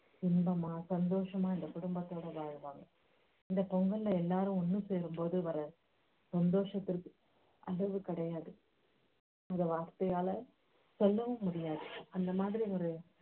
இன்பமா சந்தோஷமா அந்த குடும்பத்தோட வாழுவாங்க இந்த பொங்கல்ல எல்லாரும் ஒண்ணு சேரும்போது வர்ற சந்தோஷத்துக்கு அளவு கிடையாது இந்த வார்த்தையால சொல்லவும் முடியாது அந்த மாதிரி ஒரு